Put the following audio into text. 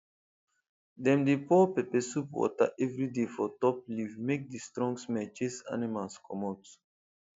dem dey pour pepper soup water every day for top leaf make the strong smell chase animals comot